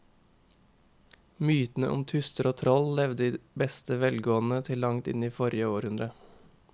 Mytene om tusser og troll levde i beste velgående til langt inn i forrige århundre.